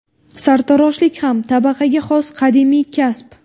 Sartaroshlik ham tabaqaga xos qadimiy kasb.